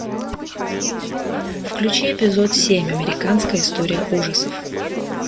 включи эпизод семь американская история ужасов